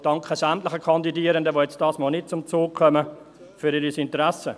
Ich danke sämtlichen Kandidierenden, die diesmal nicht zum Zug kommen, für ihr Interesse.